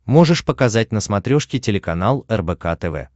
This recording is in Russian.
можешь показать на смотрешке телеканал рбк тв